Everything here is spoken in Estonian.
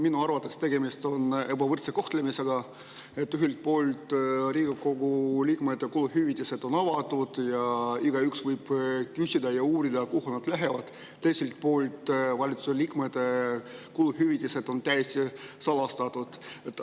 Minu arvates on tegemist ebavõrdse kohtlemisega, kui ühelt poolt on Riigikogu liikmete kuluhüvitised avatud ning igaüks võib küsida ja uurida, kuhu need lähevad, aga teiselt poolt on valitsuse liikmete täiesti salastatud.